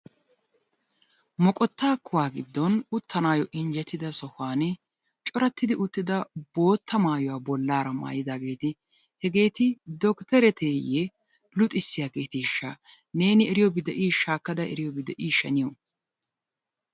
Moqottaa kuwaa giddon uttanaayo injjetida sohuwani corattidi uttida bootta maayuwaa bollaara maayidaageeti hegeeti doctereteeyee luxissiyaageeteeshsha neeni eriyobi de'ii shaakkada eriyobi de"isha niyo?